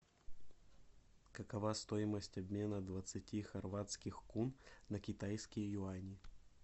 какова стоимость обмена двадцати хорватских кун на китайские юани